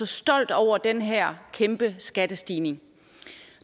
stolt over den her kæmpe skattestigning